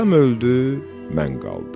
atam öldü, mən qaldım.